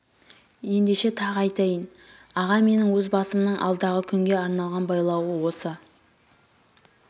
ендеше тағы айтайын аға менің өз басымның алдағы күнге арналған байлауы осы